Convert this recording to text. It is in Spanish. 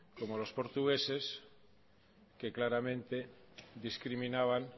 como los portugueses que claramente discriminaban